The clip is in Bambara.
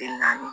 Kile naani